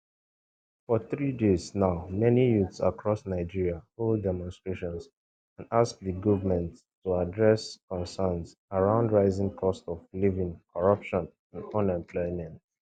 for three days now many youths across nigeria hold demonstrations and ask di govment to address concerns around rising cost of living corruption and unemployment